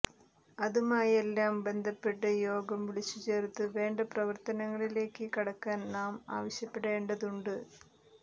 അതുമായെല്ലാം ബന്ധപ്പെട്ട് യോഗം വിളിച്ചുചേർത്ത് വേണ്ട പ്രവർത്തനങ്ങളിലേക്ക് കടക്കാൻ നാം ആവശ്യപ്പെടേണ്ടതുണ്ട്